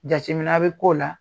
Jatemina bi k'o la